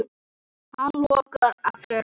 Hann logar allur af ást.